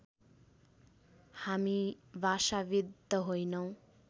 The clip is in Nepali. हामी भाषाविद् त होइनौँ